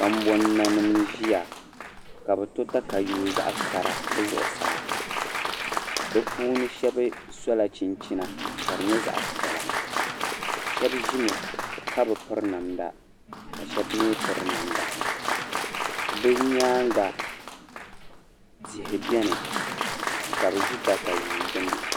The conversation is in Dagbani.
kambonanima ʒiya ka bɛ tɔ tayuya zaɣ'kara bɛ zuɣusaa bɛ puuni shɛba sula chinichina ka di nyɛ zaɣ'piɛla ka shɛba ʒimi ka bi piri namda ka mi piri namda be nyaaŋa tihi bɛni ka bɛ ʒi tayuui gbuni